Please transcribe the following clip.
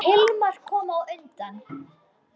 Hilmar kom á undan.